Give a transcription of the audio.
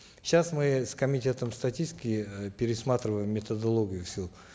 сейчас мы с комитетом статистики э пересматриваем методологию всю